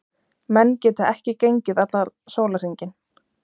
Menn geta ekki gengið allan sólarhringinn.